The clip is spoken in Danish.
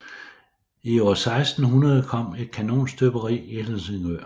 I år 1600 kom et kanonstøberi i Helsingør